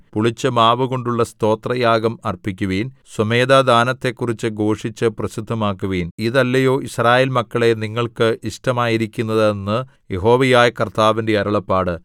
പുളിച്ച മാവുകൊണ്ടുള്ള സ്തോത്രയാഗം അർപ്പിക്കുവിൻ സ്വമേധാദാനങ്ങളെക്കുറിച്ച് ഘോഷിച്ച് പ്രസിദ്ധമാക്കുവിൻ ഇതല്ലയോ യിസ്രായേൽ മക്കളേ നിങ്ങൾക്ക് ഇഷ്ടമായിരിക്കുന്നത് എന്ന് യഹോവയായ കർത്താവിന്റെ അരുളപ്പാട്